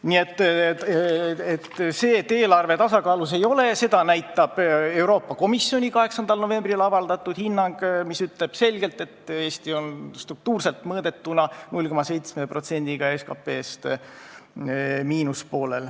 Nii et see eelarve tasakaalus ei ole ja seda näitab ka Euroopa Komisjoni 8. novembril avaldatud hinnang, mis ütleb selgelt, et Eesti eelarve on struktuurselt mõõdetuna 0,7%-ga SKP-st miinuses.